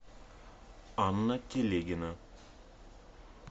анна телегина